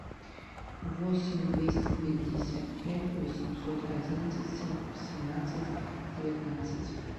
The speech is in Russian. восемь двести пятьдесят пять восемьсот одиннадцать семнадцать девятнадцать